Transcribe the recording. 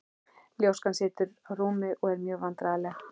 Ljóskan situr á rúmi og er mjög vandræðaleg.